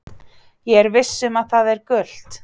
Ég er viss um að það er gult?